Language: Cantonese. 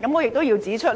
此外，我也要指出，